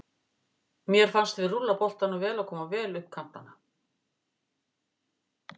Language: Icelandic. Mér fannst við rúlla boltanum vel og koma vel upp kantana.